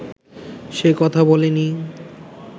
সে কথা বলিনি